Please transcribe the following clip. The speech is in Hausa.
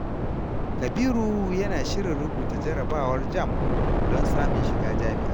Kabiru yana shirin rubuta jarabawar JAMB don samun shiga jami’a.